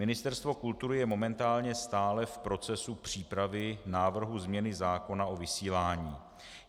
Ministerstvo kultury je momentálně stále v procesu přípravy návrhu změny zákona o vysílání.